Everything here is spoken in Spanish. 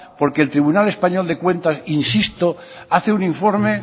porque el tribunal español de cuentas insisto hace un informe